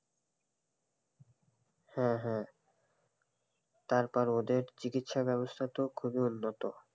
হম হম তারপর ওদের চিকিৎসা ব্যবস্থা তো খুব ই উন্নত,